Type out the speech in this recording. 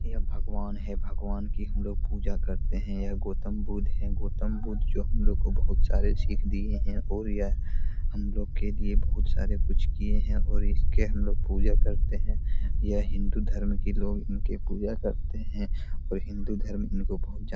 ये भगवान है। भगवान कि हम लोग पूजा करते हैं। यह गौतम बुद्ध हैं गौतम बुद्ध जो हम लोगो को बहुत सारे सीख दी है और यह हमलोग के लिए बहुत सारे कुछ किए हैं और इसके हम लोग पूजा करते हैं। यह हिन्दू धर्म के लोग उनके पूजा करते है और हिन्दू धर्म इनको बहुत जा --